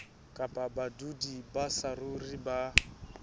kapa badudi ba saruri ba